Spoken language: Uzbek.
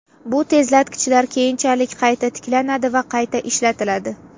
Bu tezlatkichlar keyinchalik qayta tiklanadi va qayta ishlatiladi.